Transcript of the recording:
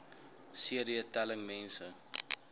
cd telling mense